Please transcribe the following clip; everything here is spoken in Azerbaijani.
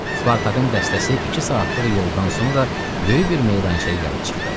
Spartakın dəstəsi iki saatlıq yoldan sonra böyük bir meydana gəlib çıxdı.